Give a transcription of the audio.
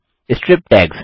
strip tags